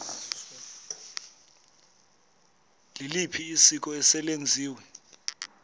liliphi isiko eselenziwe